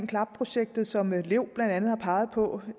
klap projektet som lev blandt andet har peget på